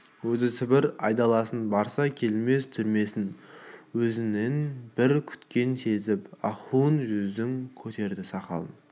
өзі сібірге айдалсын барса келмес түрмесіне өзінен бір күткенін сезіп ахун жүзін көтерді сақалын